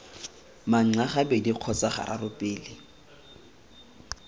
manxa gabedi kgotsa gararo pele